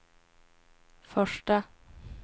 första